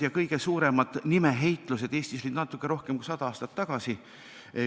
Kõige suuremad nimeheitlused olid Eestis natuke rohkem kui sada aastat tagasi.